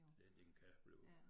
Ja det kan blive øh